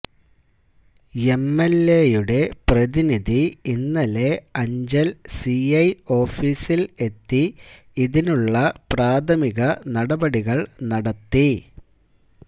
എംഎൽഎയുടെ പ്രതിനിധി ഇന്നലെ അഞ്ചൽ സിഐ ഓഫിസിൽ എത്തി ഇതിനുള്ള പ്രാഥമിക നടപടികൾ നടത്തി